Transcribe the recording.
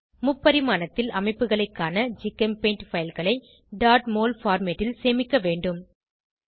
முப்பரிமாணத்தில் அமைப்புகளை காண ஜிகெம்பெயிண்ட் fileகளை mol பார்மேட் ல் சேமிக்க வேண்டும்